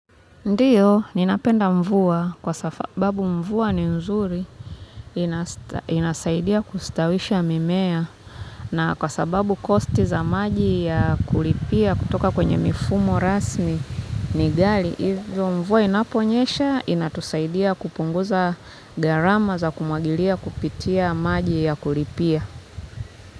Ndiyo ninapenda mvua kwa sababu mvua ni nzuri inasaidia kustawisha mimea na kwa sababu kosti za maji ya kulipia kutoka kwenye mifumo rasmi ni gali, hivyo mvua inaponyesha, inatusaidia kupunguza garama za kumwagilia kupitia maji ya kulipia.